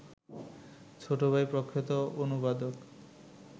ছোট ভাই প্রখ্যাত অনুবাদক